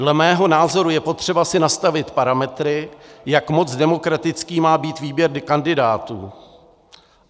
Dle mého názoru je potřeba si nastavit parametry, jak moc demokratický má být výběr kandidátů.